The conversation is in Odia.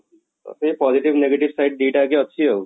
positive negative side ଦି ଟା ଜାକ ଅଛି ଆଉ